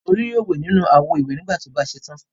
Tolú yóò wẹ̀ nínú àwo-ìwẹ̀ nígbà tí ó bá ṣe tán.